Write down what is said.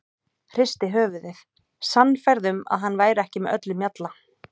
Hristi höfuðið, sannfærð um að hann væri ekki með öllum mjalla.